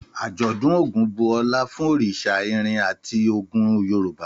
Àjọ̀dún Ògún bu ọlá fún òrìṣà irin àti ogun Yorùbá.